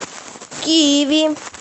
киви